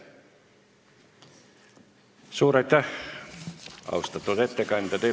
Suur aitäh, austatud ettekandja!